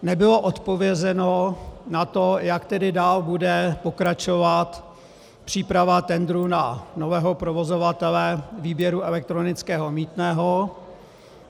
Nebylo odpovězeno na to, jak tedy dál bude pokračovat příprava tendru na nového provozovatele výběru elektronického mýtného.